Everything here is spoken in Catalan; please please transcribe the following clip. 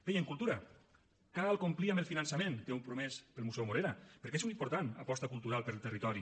bé i en cultura cal complir amb el finançament que heu promès per al museu morera perquè és una important aposta cultural per al territori